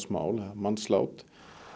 mannslát